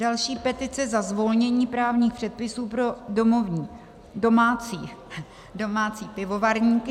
Další, petice za zvolnění právních předpisů pro domácí pivovarníky.